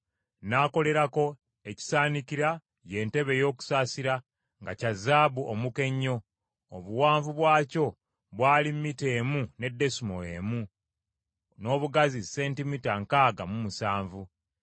N’akolerako ekisaanikira, ye ntebe ey’okusaasira nga kya zaabu omuka ennyo; obuwanvu bwakyo bwali mita emu ne desimoolo emu, n’obugazi sentimita nkaaga mu musanvu.